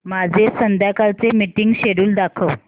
माझे संध्याकाळ चे मीटिंग श्येड्यूल दाखव